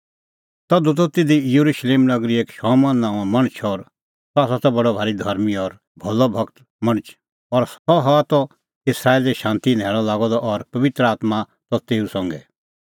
तधू त तिधी येरुशलेम नगरी एक शमौन नांओं मणछ और सह त बडअ धर्मीं और भलअ भगत मणछ और सह हआ त इस्राएले शांती न्हैल़अ लागअ द और पबित्र आत्मां त तेऊ संघै